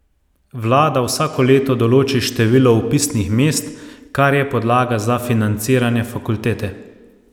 Vlada vsako leto določi število vpisnih mest, kar je podlaga za financiranje fakultete.